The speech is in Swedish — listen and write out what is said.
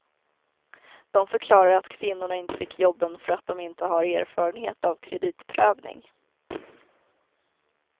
De förklarar att kvinnorna inte fick jobben för att de inte har erfarenhet av kreditprövning.